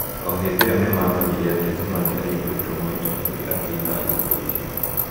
O hĩndĩ ĩyo nĩ mamenyire atĩ Zuma nĩ aiguĩtwo maita maingĩ akĩina nyĩmbo icio.